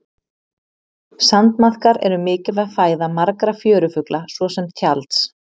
Sandmaðkar eru mikilvæg fæða margra fjörufugla svo sem tjalds.